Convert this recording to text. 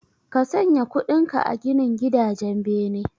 Ka sanya kudinka a ginin gidajen bene